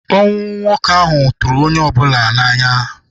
Ọnwụ nwoke ahụ tụrụ onye ọ bụla n'anya.